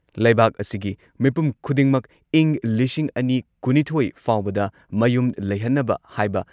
ꯂꯩꯕꯥꯛ ꯑꯁꯤꯒꯤ ꯃꯤꯄꯨꯝ ꯈꯨꯗꯤꯡꯃꯛ ꯏꯪ ꯂꯤꯁꯤꯡ ꯑꯅꯤ ꯀꯨꯟꯅꯤꯊꯣꯏ ꯐꯥꯎꯕꯗ ꯃꯌꯨꯝ ꯂꯩꯍꯟꯅꯕ ꯍꯥꯏꯕ